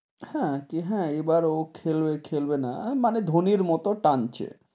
হেঁ, হে, এবার ও খেলবে, খেলবে না মানে ধোনির মতো টানছে,